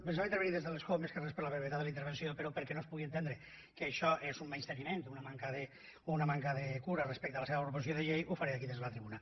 pensava intervenir des de l’escó més que res per la brevetat de la inter·venció però perquè no es pugui entendre que això és un menysteniment o una manca de cura respecte a la seva proposició de llei ho faré aquí des de la tribuna